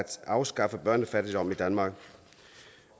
afskaffe børnefattigdom i danmark